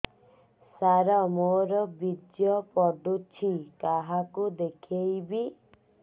ସାର ମୋର ବୀର୍ଯ୍ୟ ପଢ଼ୁଛି କାହାକୁ ଦେଖେଇବି